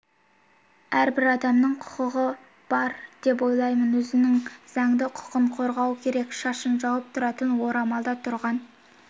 әрбір адамның құқы бар деп ойлаймын өзінің заңды құқын қорғау керек шашын жауып тұратын орамалда тұрған